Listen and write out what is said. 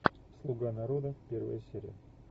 слуга народа первая серия